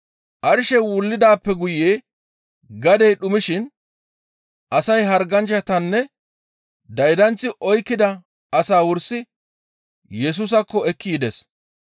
Arshey wullidaappe guye gadey dhumishin asay harganchchatanne daydanththi oykkida asaa wursi Yesusaakko ekki yides.